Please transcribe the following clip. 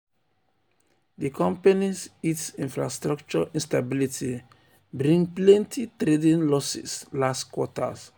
di company's it infrastructure instability bring plenty trading losses last quarter.